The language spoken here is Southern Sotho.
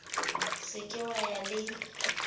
se ke wa ya le